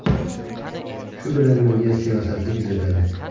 Shu bilan birga, siyosatni kuzatadi.